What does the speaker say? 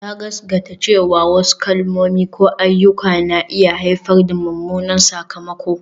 Ya gaskata cewa wasu kalmomi ko ayyuka na iya haifar da mummunan sakamako